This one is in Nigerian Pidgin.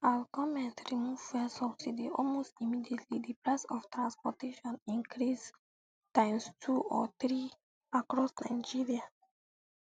as goment remove fuel subsidy almost immediately di price of transportation increase times two or three across nigeria